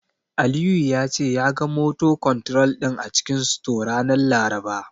Aliyu ya ce, ya ga "motor control" din a cikin store, ranar Laraba.